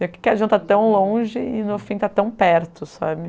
Porque a gente está tão longe e, no fim, está tão perto, sabe?